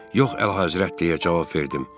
Yox, Əlahəzrət, deyə cavab verdim.